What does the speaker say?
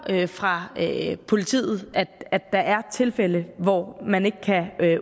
hører fra politiet at der er tilfælde hvor man ikke kan